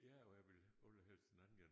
Ja og jeg vil allerhelst den anden den